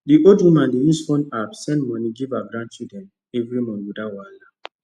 the old woman dey use phone app send money give her grandchildren every month without wahala